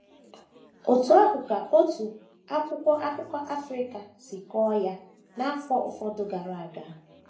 Otú ahụ ka otu akwụkwọ akụkọ Africa si kọọ ya n’afọ ụfọdụ gara aga.